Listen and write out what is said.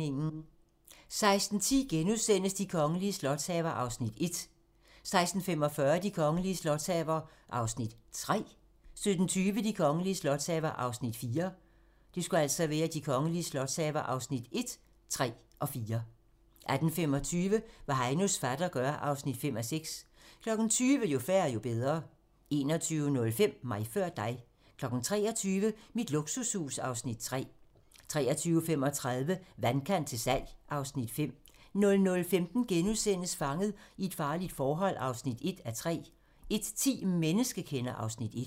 16:10: De kongelige slotshaver (1:6)* 16:45: De kongelige slotshaver (3:6) 17:20: De kongelige slotshaver (4:6) 18:25: Hvad Heinos fatter gør (5:6) 20:00: Jo færre, jo bedre 21:05: Mig før dig 23:00: Mit luksushus (Afs. 3) 23:35: Vandkant til salg (Afs. 5) 00:15: Fanget i et farligt forhold (1:3)* 01:10: Menneskekender (Afs. 1)